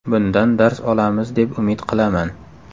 Bundan dars olamiz deb umid qilaman.